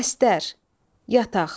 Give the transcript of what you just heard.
Bəstər, yataq.